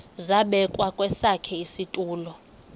zabekwa kwesakhe isitulo